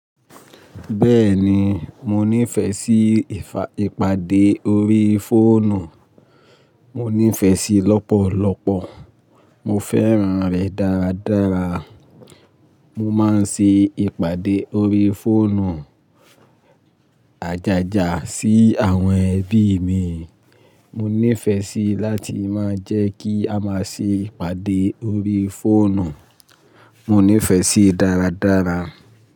Bèèni mo ni fè sí ìpàdé orí foonù. Mo nífẹ̀ẹ́ síi lọ́pọ̀lọ́pọ̀. Mo fèran rè dàrádàrá. Mo máa ń ṣe ìpàdé orí fóònù ajaja sì awòn ebì mií. Mo nífẹ̀ẹ́ síi láti máa jẹ́ kí a máa ṣe ìpàdé orí fóònù. Mo nífẹ̀ẹ́ síi dáradára.